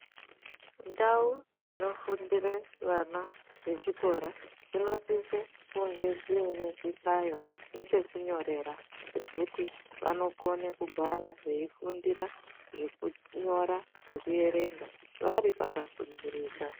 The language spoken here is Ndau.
Ndau dzinofundira vana vechikora dzinosise kunga zvine zvihlayo nepekunyorera pekuti vanokone kugar veifundira zvekunyora nekuerenga varipaka sundurika.